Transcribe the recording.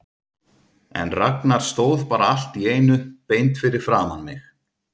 En Ragnar stóð bara allt í einu beint fyrir framan mig.